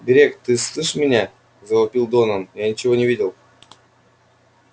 грег ты сшиб меня завопил донован я ничего не видел